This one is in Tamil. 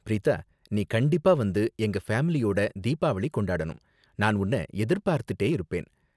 பிரீதா, நீ கண்டிப்பா வந்து எங்க ஃபேமிலியோட தீபாவளி கொண்டாடனும், நான் உன்ன எதிர்பார்த்துட்டே இருப்பேன்.